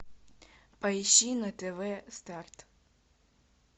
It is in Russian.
поищи на тв старт